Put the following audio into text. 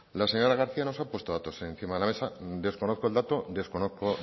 la señora garcía nos ha puesto datos encima de la mesa desconozco